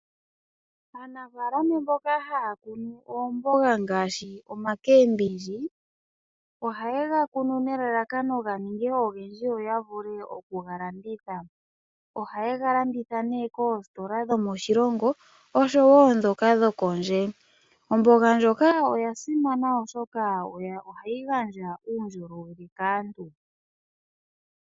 Aanafaalama mboka haya kunu oomboga ngaashi omboga yuushimba . Ohaye yi kuni nelalakano opo yi ninge oyindji yo ya wape oku kega landitha. Oha yeyi landitha koositola dhomoshilongo oshowo ndhoka dho kondje . Omboga ndhika oya simana oshoka ohayi gandja uundjolowele kaantu .